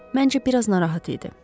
Məncə biraz narahat idi.